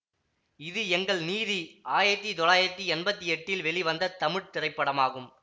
இது எங்கள் நீதி ஆயத்தி தொள்ளாயிரத்தி எம்பத்தி எட்டில் வெளிவந்த தமிழ் திரைப்படமாகும்